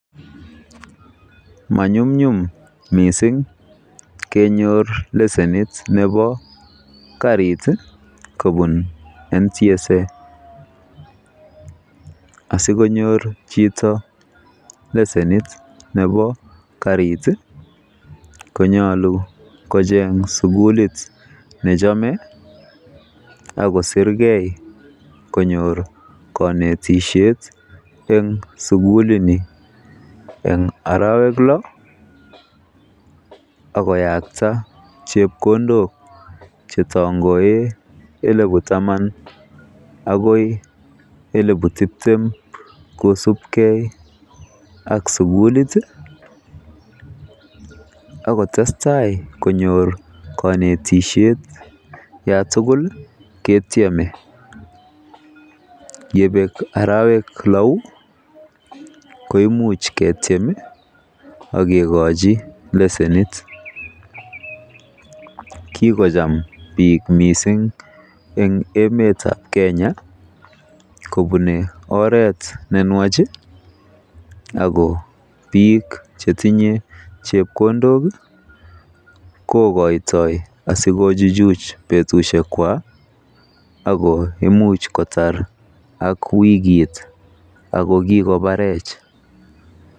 Mnayumnyum mising kenyor lesenit nebo karit kobun NTSA, asikonyor chito lesenit nebo karit konyolu kocheng sukulit nechome ak kosir ge konyor konetishet e sugulini, en arawek lo ak koyakta chepkondok che tangoen elibu taman agoi elibu tibtem kosubge ak sugulit ak kotestai konyor konetishek yan tugul ke tyeme. Yebeek arawek lo koimuch ketyem ak kigochi lesenit. Kigocham biik mising en emet ab Kenya kobune oret ne nwach, ago biik che chang mising chetinye chepkondok kogoitioi asikochuchuj betushek kwak ago imuch kotar ak wikit ago kigobarech.